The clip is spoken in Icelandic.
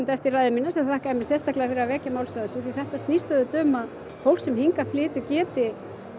eftir ræðu mína sem þakkaði mér sérstaklega fyrir að vekja máls á þessu þetta snýst auðvitað um að fólk sem hingað flytur geti